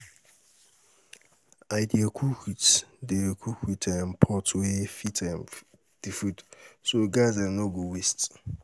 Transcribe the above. I dey cook with pot wey fit the food, so gas no go waste.